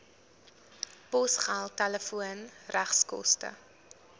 posgeld telefoon regskoste